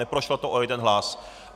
Neprošlo to o jeden hlas.